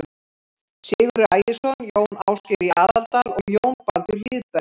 Sigurður Ægisson, Jón Ásgeir í Aðaldal og Jón Baldur Hlíðberg.